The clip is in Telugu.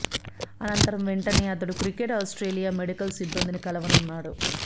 అనంతరం వెంటనే అతడు క్రికెట్ ఆస్ట్రేలియా మెడికల్ సిబ్బందిని కలవనున్నాడు